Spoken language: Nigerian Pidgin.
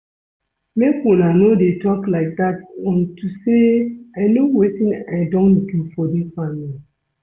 Make una no dey talk like dat unto say I know wetin I don do for dis family